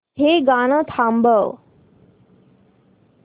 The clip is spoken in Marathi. हे गाणं थांबव